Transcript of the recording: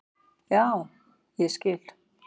Já, ég skil